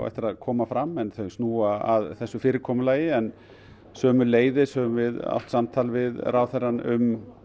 eftir að koma fram en þau snúa að þessu fyrirkomulagi en sömuleiðis þá höfum við átt samtal við ráðherrann um